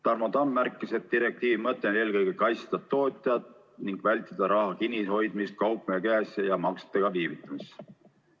Tarmo Tamm märkis, et direktiivi mõte on eelkõige kaitsta tootjat ning vältida raha kinnihoidmist kaupmehe käes ja maksetega viivitamist.